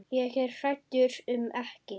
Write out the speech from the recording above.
Ég er hræddur um ekki.